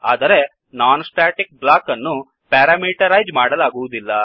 ಆದರೆ non static ಬ್ಲಾಕ್ಅನ್ನು parameterise ಮಾಡಲಾಗುವುದಿಲ್ಲ